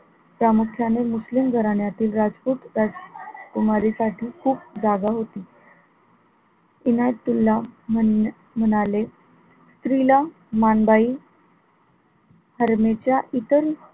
प्रामुख्याने मुस्लिम घराण्यातील राजपूत राजकुमारी साठी खूप जागा होती इनायत तुल्लाह म्ह म्हणाले स्त्रीला माणबाई हरमेच्या इतर,